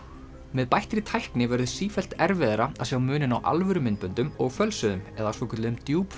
með bættri tækni verður sífellt erfiðara að sjá muninn á alvöru myndböndum og fölsuðum eða svokölluðum